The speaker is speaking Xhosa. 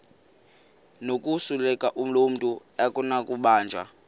nokhuseleko lomntu akunakubanjwa